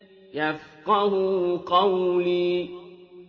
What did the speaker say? يَفْقَهُوا قَوْلِي